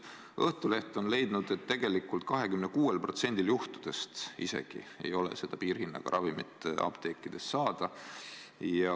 Õhtuleht on leidnud, et tegelikult isegi 26%-l juhtudest ei ole piirhinnaga ravimit apteegis saada.